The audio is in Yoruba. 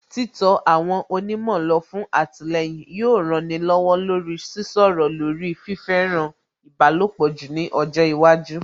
Títọ àwọn onímọ̀ lọ fún àtìlẹyìn yóò rani lọ́wọ́ lórí Sísọ̀rọ̀ lórí fífẹ́ràn ìbálòpọ̀ jù ní ọjọ́ iwájú